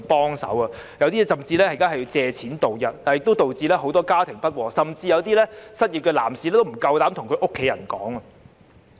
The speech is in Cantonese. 有些人現在甚至要借貸度日，這亦導致很多家庭不和，甚至有些失業的男士不敢向家人坦白。